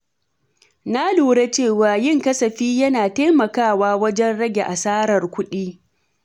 Na lura cewa yin kasafi yana taimakawa wajen rage asarar kuɗi.